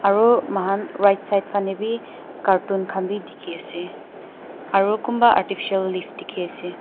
aru mahan right side fanae bi carton khan bi dikhiase aru kun pa artificial leave dikhiase.